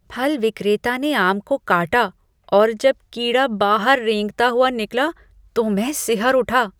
फल विक्रेता ने आम को काटा और जब कीड़ा बाहर रेंगता हुआ निकला तो मैं सिहर उठा।